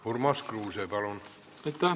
Urmas Kruuse, palun!